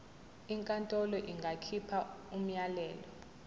inkantolo ingakhipha umyalelo